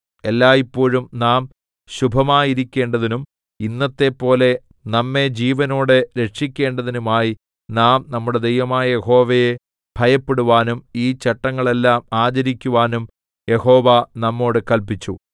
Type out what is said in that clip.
എല്ലായ്പോഴും നാം ശുഭമായിരിക്കേണ്ടതിനും ഇന്നത്തെപ്പോലെ നമ്മെ ജീവനോടെ രക്ഷിക്കേണ്ടതിനുമായി നാം നമ്മുടെ ദൈവമായ യഹോവയെ ഭയപ്പെടുവാനും ഈ ചട്ടങ്ങളെല്ലാം ആചരിക്കുവാനും യഹോവ നമ്മോട് കല്പിച്ചു